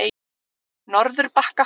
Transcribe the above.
Norðurbakka